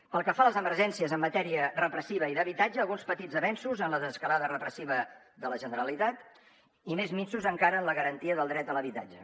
pel que fa a les emergències en matèria repressiva i d’habitatge alguns petits avenços en la desescalada repressiva de la generalitat i més minsos encara en la garantia del dret a l’habitatge